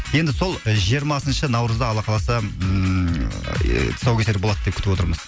енді сол жиырмасыншы наурызда алла қаласа ммм тұсау кесер болады деп күтіп отырмыз